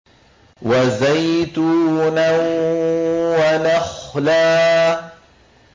وَزَيْتُونًا وَنَخْلًا